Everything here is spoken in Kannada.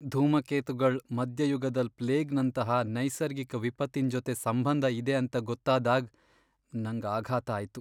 ಧೂಮಕೇತುಗಳ್ ಮಧ್ಯಯುಗದಲ್ ಪ್ಲೇಗ್ ನಂತಹ ನೈಸರ್ಗಿಕ ವಿಪತ್ತಿನ್ ಜೊತೆ ಸಂಬಂಧ ಇದೆ ಅಂತ ಗೊತ್ತಾದಾಗ್ ನಂಗ್ ಆಘಾತ ಆಯ್ತು.